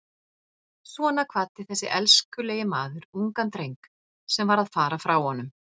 Svona kvaddi þessi elskulegi maður ungan dreng sem var að fara frá honum.